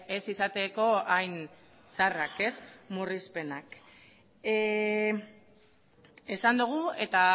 ez izateko hain txarrak ez murrizpenak esan dugu eta